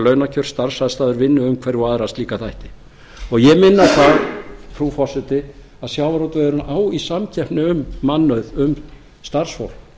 launakjör starfsaðstæður vinnuumhverfi og aðra slíka þætti ég minni á það frú forseti að sjávarútvegurinn á í samkeppni um mannauð um starfsfólk